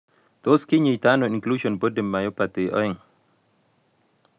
Tos kinyaitaiano Inclusion body myopathy 2?